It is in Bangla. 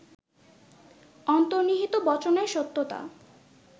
অন্তর্নিহিত বচনের সত্যতা